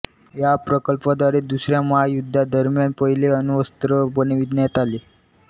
या प्रकल्पाद्वारे दुसऱ्या महायुद्धादरम्यान पहिले अण्वस्त्र बनविण्यात आले